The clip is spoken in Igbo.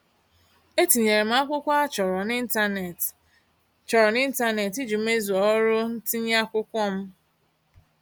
E tinyere m akwụkwọ a chọrọ n'ịntaneetị chọrọ n'ịntaneetị iji mezuo ọrụ ntinye akwụkwọ m.